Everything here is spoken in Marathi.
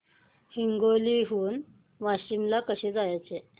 हिंगोली हून वाशीम ला कसे जायचे